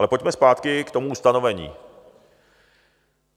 Ale pojďme zpátky k tomu ustanovení.